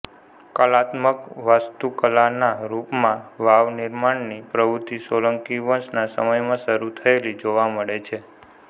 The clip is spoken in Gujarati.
કલાત્મક વાસ્તુકલાનાં રૂપમાં વાવ નિર્માણની પ્રવૃત્તિ સોલંકી વંશના સમયમાં શરૂ થયેલી જોવા મળે છે